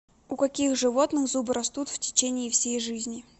у каких животных зубы растут в течении всей жизни